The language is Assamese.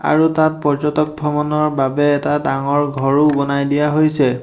আৰু তাত পৰ্যটক ভ্ৰমণৰ বাবে এটা ডাঙৰ ঘৰো বনাই দিয়া হৈছে।